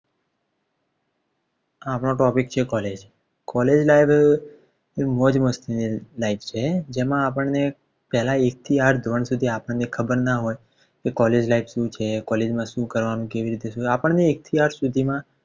આપનો topic છે College. College એ મોજમસ્તી ની life છે જેમાં આપણને પેલા એક થી આઠ ધોરણ સુધી આપણને ખબર ના હોય કે College life શું છે College માં શું કરવાનું કેવી રીતે આપણને એક થી આઠ સુધી માં